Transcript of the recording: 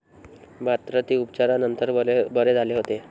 मात्र, ते उपचारानंतर बरे झाले होते.